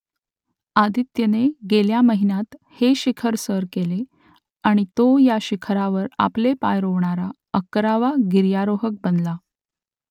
आदित्यने गेल्या महिन्यात हे शिखर सर केले आणि तो या शिखरावर आपले पाय रोवणारा अकरावा गिर्यारोहक बनला